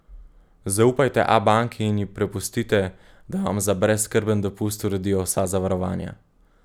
Zaupajte Abanki in ji prepustite, da vam za brezskrben dopust uredijo vsa zavarovanja.